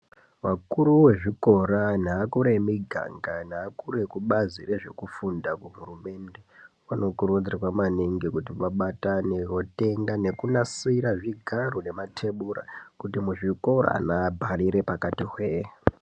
Vakuru wezvikora, neakuru emiganga neakuru ekubazi rezvekufunda kuhurumende, vanokurudzirwa maningi kuti vabatane votenga nekunasira zvigaro nematebura kuti muzvikora ana abharire pakati hwee.